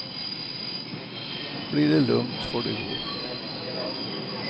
Blir det lugnt får de gå.